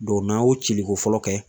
n'a y'o cili ko fɔlɔ kɛ